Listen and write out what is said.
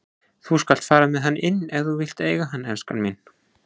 Þú skalt fara með hann inn ef þú vilt eiga hann, elskan mín.